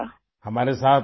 املان بھی ہمارے ساتھ ہیں